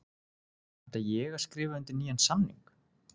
Ætla ég að skrifa undir nýjan samning?